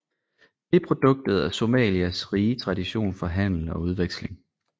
Det er produktet af Somalias rige tradition for handel og udveksling